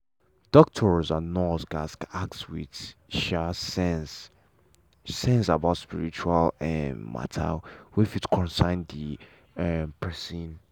doctor and nurse gatz ask with um sense sense about spiritual um matter wey fit concern the um person.